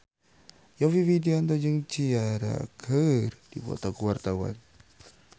Yovie Widianto jeung Ciara keur dipoto ku wartawan